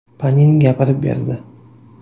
Panin gapirib berdi.